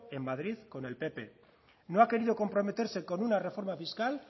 en madrid con el pp no ha querido comprometerse con una reforma fiscal